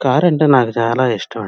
Car అంటే నాకు చాలా ఇష్టం ఆండీ.